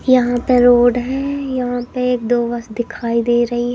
यहां पे रोड है यहां पे एक-दो बस दिखाई दे रही --